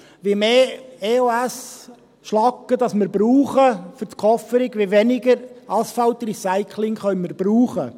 Je mehr EOS-Schlacke wir für die Kofferung verwenden, desto weniger Asphaltrecycling können wir verwenden.